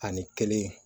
Ani kelen